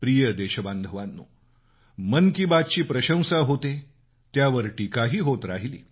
प्रिय देशबांधवांनो मन की बात ची प्रशंसा होते त्यावर टीकाही होत राहिली